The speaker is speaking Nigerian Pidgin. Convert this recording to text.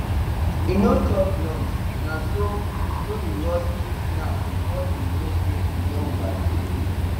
he no chop lunch na so so he rush three snacks before e know say e don overdo